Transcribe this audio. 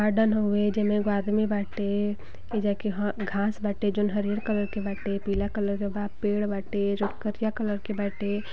Garden हउवे जेमे एगो आदमी बाटे एइजा के हं घास बाटे जोन हरियर कलर के बाटे पीला कलर के बा पेड़ बाटे जोन करीया कलर के बाटे।